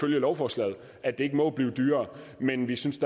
lovforslaget at det ikke må blive dyrere men vi synes